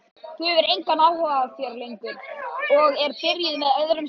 Hún hefur engan áhuga á þér lengur og er byrjuð með öðrum strák.